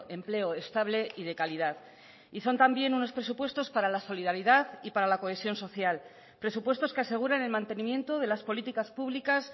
empleo estable y de calidad y son también unos presupuestos para la solidaridad y para la cohesión social presupuestos que aseguren el mantenimiento de las políticas públicas